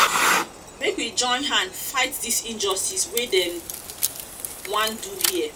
make we join hand fight dis injustice wey dem wan do here.